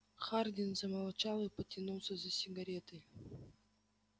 хардин замолчал и потянулся за сигаретой